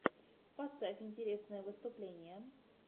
поставь интересные выступления